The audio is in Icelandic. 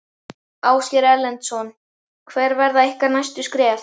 Ásgeir Erlendsson: Hver verða ykkar næstu skref?